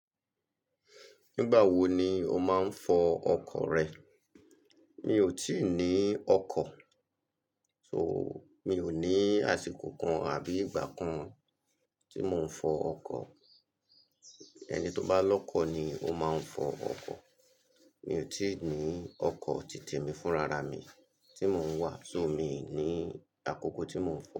Nígbà wo ni o máa ń fọ ọkọ̀ rẹ? Mi ò tíì ní ọkọ̀, so mi ò ní àsìkò kan àbí ìgbà kan tí mò ń fọ ọkọ̀. Ẹni tó bá lọ́kọ̀ ni ó máa ń fọ ọkọ̀. Mi ò tí ì ní ọkọ̀ tí te mi fúnra ra mi tí mò ń wà, so mi ò ní àkókò tí mò ń fọ ọkọ̀.